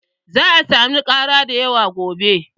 Za'a samu ƙara dayawa gobe.